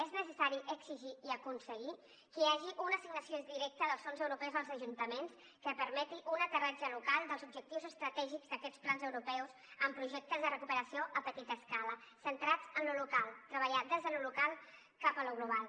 és necessari exigir i aconseguir que hi hagi una assignació directa dels fons europeus als ajuntaments que permeti un aterratge local dels objectius estratègics d’aquests plans europeus amb projectes de recuperació a petita escala centrats en lo local treballat des de lo local cap a lo global